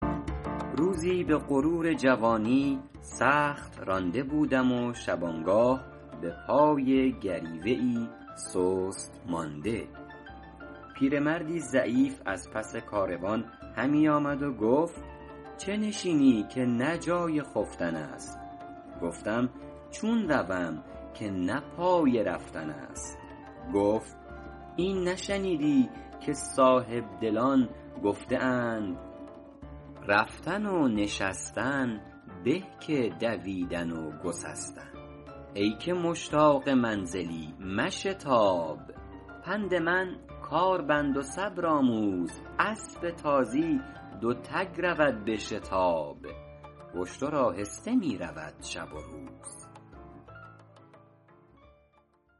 روزی به غرور جوانی سخت رانده بودم و شبانگاه به پای گریوه ای سست مانده پیرمردی ضعیف از پس کاروان همی آمد و گفت چه نشینی که نه جای خفتن است گفتم چون روم که نه پای رفتن است گفت این نشنیدی که صاحبدلان گفته اند رفتن و نشستن به که دویدن و گسستن ای که مشتاق منزلی مشتاب پند من کار بند و صبر آموز اسب تازی دو تگ رود به شتاب و اشتر آهسته می رود شب و روز